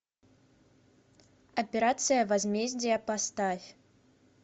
операция возмездие поставь